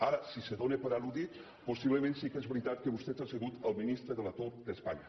ara si es dóna per al·ludit possiblement sí que és veritat que vostè ha sigut el ministre de l’atur d’espanya